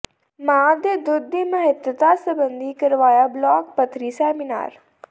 ਮਾਂ ਦੇ ਦੁੱਧ ਦੀ ਮੱਹਤਤਾ ਸਬੰਧੀ ਕਰਵਾਇਆ ਬਲਾਕ ਪੱਧਰੀ ਸੈਮੀਨਾਰ